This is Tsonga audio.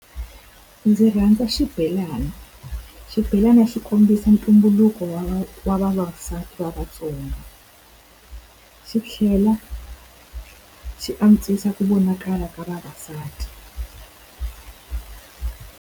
Ndzi rhandza xibelani. Xibelani xi kombisa ntumbuluko wa wa vavasati va Vatsonga. Xi tlhela xi antswisa ku vonakala ka vavasati.